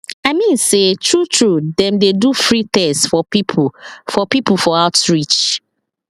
i mean say true true dem dey do free test for people for people for outreach